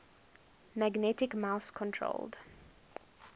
magnetic mouse controlled